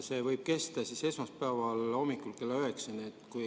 See võib kesta esmaspäeva hommikul kella üheksani.